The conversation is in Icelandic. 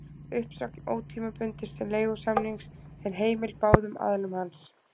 Uppsögn ótímabundins leigusamnings er heimil báðum aðilum hans.